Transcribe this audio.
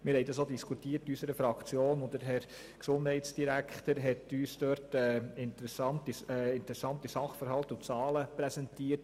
Wir haben dies auch in der Fraktion diskutiert, und der Herr Gesundheitsdirektor hat uns interessante Sachverhalte und Zahlen präsentiert.